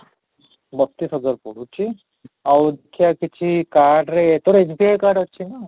ବତିଶ ହାଜର ପଡୁଛି, ଆଉ ଦେଖିଆ କିଛି card ରେ ଏଇ ତୋର SBI card ଅଛି ନା?